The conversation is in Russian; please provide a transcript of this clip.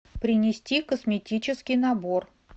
принести косметический набор